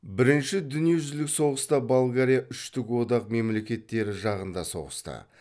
бірінші дүниежүзілік соғыста болгария үштік одақ мемлекеттері жағында соғысты